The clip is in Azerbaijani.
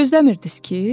Gözləmirdiz ki?